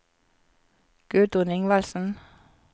Gudrun Ingvaldsen